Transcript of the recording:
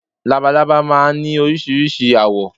Labalábá máa ń ní oríṣiríṣi àwọ̀